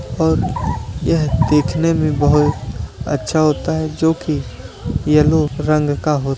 और यह देखने में बहुत अच्छा होता है जोकि येलो रंग का हो --